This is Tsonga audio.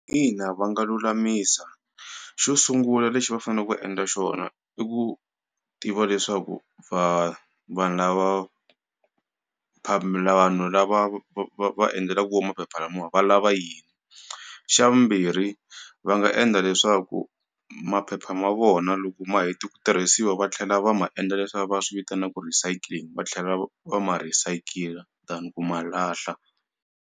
Ina, va nga lulamisa xo sungula lexi va fane ku endla xona i ku tiva leswaku vanhu lava vanhu lava va va endlelaku vo maphepha lamawa va lava yini xa vumbirhi va nga endla leswaku maphepha ma vona loko ma heti ku tirhisiwa va tlhela va ma endla leswiya va swivitanaku recycling va tlhela va ma recycler than ku ma lahla.